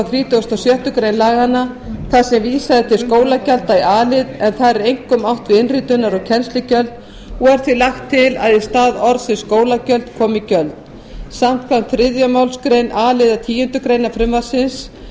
þrítugasta og sjöttu grein laganna þar sem vísað er til skólagjalda í a lið en þar er einkum átt við innritunar og kennslugjöld og er því lagt til að í stað orðsins skólagjöld komi gjöld samkvæmt þriðju málsgrein a liðar tíundu greinar frumvarpsins